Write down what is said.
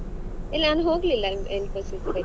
ಇಲ್ಲ ನಾನ್ ಹೋಗ್ಲಿಲ್ಲಾ Infosys ಗೆ.